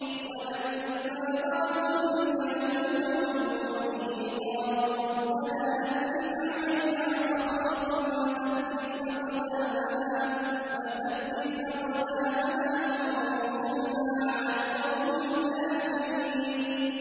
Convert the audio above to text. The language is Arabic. وَلَمَّا بَرَزُوا لِجَالُوتَ وَجُنُودِهِ قَالُوا رَبَّنَا أَفْرِغْ عَلَيْنَا صَبْرًا وَثَبِّتْ أَقْدَامَنَا وَانصُرْنَا عَلَى الْقَوْمِ الْكَافِرِينَ